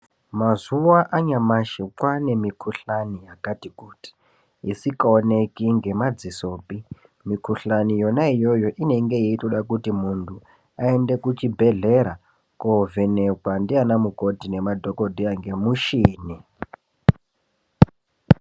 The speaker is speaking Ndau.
Mazuwa anyamashi kwaane mikhuhlani yakati kuti, isikaoneki ngemadzisopi. Mikhuhlani yona iyoyo inonga yeitoda kuti muntu, aende kuchibhedhlera, koovhenekwa ndianamukoti nemadhokodheya ngemushini.